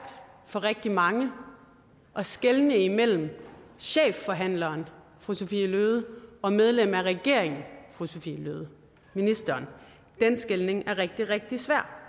for rigtig mange at skelne imellem chefforhandleren fru sophie løhde og medlem af regeringen fru sophie løhde ministeren den skelnen er rigtig rigtig svær